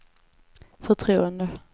förtroende